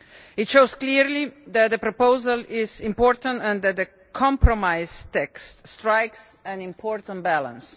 It shows clearly that the proposal is important and that the compromise text strikes an important balance.